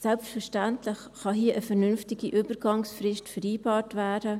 Selbstverständlich kann hier eine vernünftige Übergangsfrist vereinbart werden.